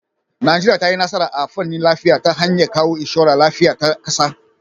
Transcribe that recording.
Najeriya ta yi nasara a fannin lafiya ta hanyar kawo inshorar lafiya ta kasa (NHIS).